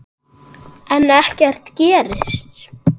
En ekkert gerist.